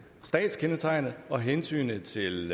statskendetegnet og hensynet til